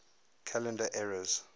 calendar eras